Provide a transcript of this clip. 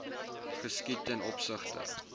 geskied ten opsigte